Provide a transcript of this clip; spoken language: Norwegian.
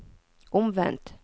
omvendt